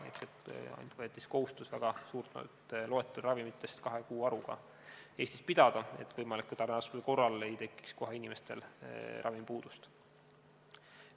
Ehk võeti kohustus väga suur loetelu ravimitest kahe kuu varuga Eestis pidada, et võimaliku tarneraskuse korral ei tekiks inimestel kohe ravimipuudust.